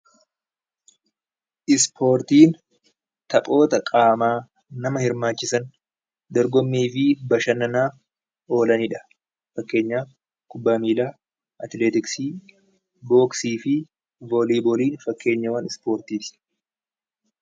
Ispoortiin sochii qaamaa nama hirmaachisan dorgommii fi bashannanaaf oolaniidha. Fakkeenyaaf kubbaa miillaa, atileetiksii, booksii fi vooliibooliin fakkeenyawwan ispoortiiti.